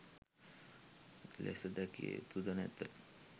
ලෙස දැකියයුතු ද නැත.